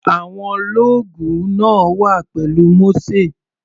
Àwọn lọ́ọ̀gù náà wà pẹ̀lú Mósè.